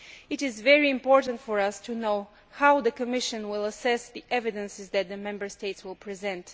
It is very important for us to know how the Commission will assess the evidence that the Member States will present.